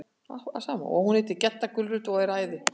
Og hún heitir Gedda gulrót og er æði.